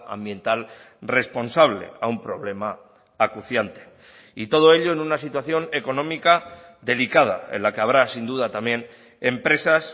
ambiental responsable a un problema acuciante y todo ello en una situación económica delicada en la que habrá sin duda también empresas